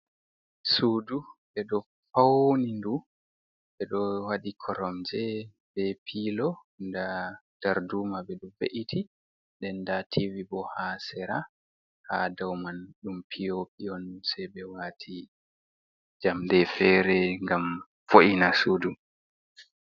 Sudu ɓe ɗo pauni ndu ɓe ɗo waɗi koromje be pilo nda darduma ɓe ɗo be iti, den nda tivi bo ha sera ha dau man ɗum piyopie on sei ɓe wati jamɗe fere gam vo’ina. sudu